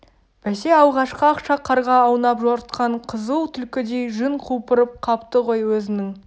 бәсе алғашқы ақша қарға аунап жортқан қызыл түлкідей жүн құлпырып қапты ғой өзінің